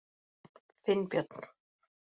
Finnbjörn